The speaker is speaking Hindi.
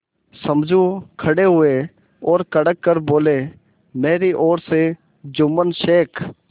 समझू खड़े हुए और कड़क कर बोलेमेरी ओर से जुम्मन शेख